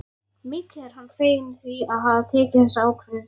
Mikið er hann feginn því að hafa tekið þessa ákvörðun.